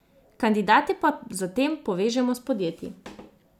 Kandidate pa zatem povežemo s podjetji.